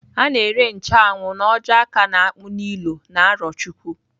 A na-ere nche anwụ n'ojo-aka n'akpu n'ilo n'Arochukwu.